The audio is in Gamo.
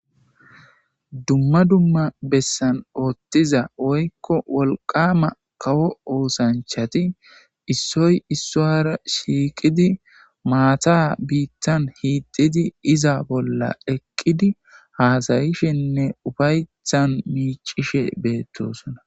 dumma dumma bessan oottiza woykko wolqama kawo oosanchati issoy issuwara shiiqidi maata biittan hiididi iza bolla eqqidi haasayishenne ufaytthan miicishe beettosona